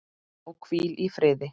Og hvíl í friði.